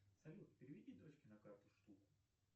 салют переведи дочке на карту штуку